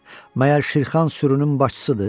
Məyər Şirxan sürünün başçısıdır?